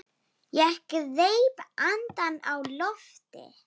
Ég greip andann á lofti.